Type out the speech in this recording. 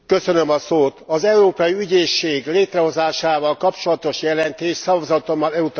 Az Európai Ügyészség létrehozásával kapcsolatos jelentést szavazatommal elutasítottam.